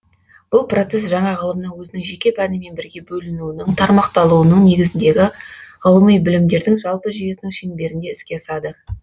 бұл процесс жаңа ғылымның өзінің жеке пәнімен бірге бөлінуінің тармақталуының негізіндегі ғьлыми білімдердің жалпы жүйесінің шеңберінде іске асады